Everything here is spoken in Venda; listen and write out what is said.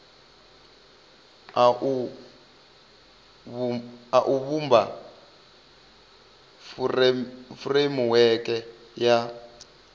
a u vhumba furemiweke ya